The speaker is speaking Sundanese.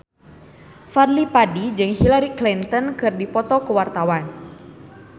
Fadly Padi jeung Hillary Clinton keur dipoto ku wartawan